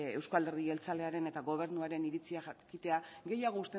euzko alderdi jeltzalearen eta gobernuaren iritzia jakitea